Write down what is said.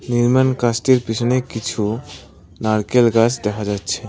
নির্মাণ কাজটির পিছনে কিছু নারকেল গাছ দেখা যাচ্ছে।